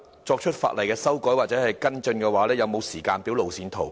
作出法例修改或跟進的配合行動，是否有時間表、路線圖？